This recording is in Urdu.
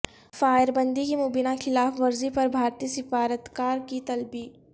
فائر بندی کی مبینہ خلاف ورزی پر بھارتی سفارتکار کی طلبی